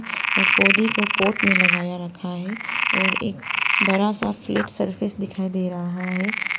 और पौधे को पॉट में लगाया रखा है और एक बड़ा सा फ्लैट सर्फेस दिखाई दे रहा है।